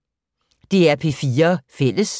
DR P4 Fælles